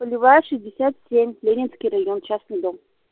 полевая шестьдесят семь ленинский район частный дом